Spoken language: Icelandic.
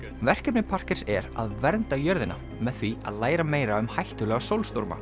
verkefni er að vernda jörðina með því að læra meira um hættulega